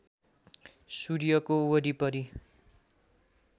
सूर्यको वरिपरी